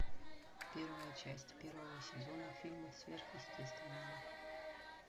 первая часть первого сезона фильма сверхъестественное